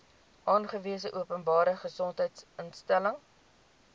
aangewese openbare gesondheidsinstelling